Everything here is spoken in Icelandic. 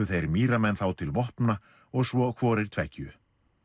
þeir Mýramenn þá til vopna og svo hvorir tveggju